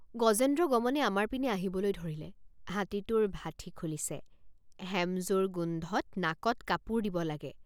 গজেন্দ্ৰগমনে আমাৰ পিনে আহিবলৈ ধৰিলে। হাতীটোৰ ভাঠি .খুলিছে হেমজুৰ গোন্ধত নাকত কাপোৰ দিব লাগে।